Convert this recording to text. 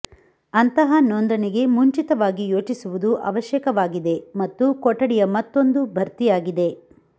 ಅಂತಹ ನೋಂದಣಿಗೆ ಮುಂಚಿತವಾಗಿ ಯೋಚಿಸುವುದು ಅವಶ್ಯಕವಾಗಿದೆ ಮತ್ತು ಕೊಠಡಿಯ ಮತ್ತೊಂದು ಭರ್ತಿಯಾಗಿದೆ